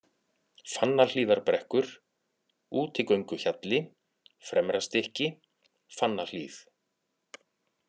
Fannahlíðarbrekkur, Útigönguhjalli, Fremrastykki, Fannahlíð